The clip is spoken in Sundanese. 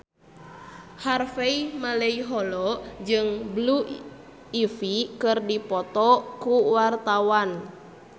Harvey Malaiholo jeung Blue Ivy keur dipoto ku wartawan